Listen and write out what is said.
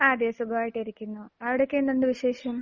അതെ. സുഖമായിട്ട് ഇരിക്കുന്നു. അവിടെയൊക്കെ എന്തുണ്ട് വിശേഷം?